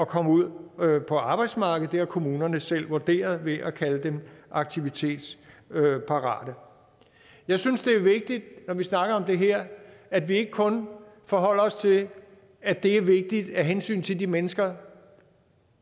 komme ud på arbejdsmarkedet det har kommunerne selv vurderet ved at kalde dem aktivitetsparate jeg synes det er vigtigt når vi snakker om det her at vi ikke kun forholder os til at det er vigtigt af hensyn til de mennesker